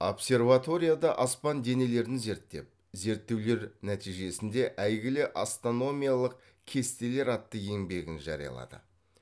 обсерваторияда аспан денелерін зеріттеп зеріттеулер нәтижесінде әйгілі астономиялық кестелер атты еңбегін жариялады